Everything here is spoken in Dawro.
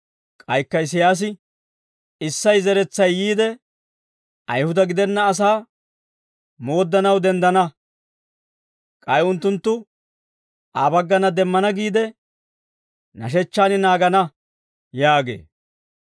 K'aykka Isiyaasi, «Issey zeretsay yiide, Ayihuda gidenna asaa mooddanaw denddana. K'ay unttunttu Aa baggana demmana giide, nashechchaan naagana» yaagee.